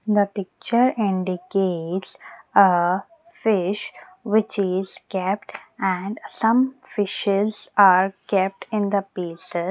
the picture andicates a fish which is kept and some fishes are kept in the baser.